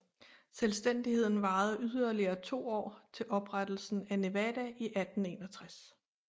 Selvstændigheden varede yderligere to år til oprettelsen af Nevada i 1861